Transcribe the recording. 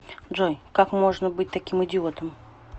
джой как можно быть таким идиотом